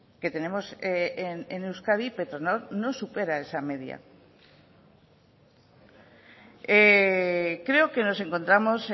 que tenemos en euskadi petronor no supera esa media creo que nos encontramos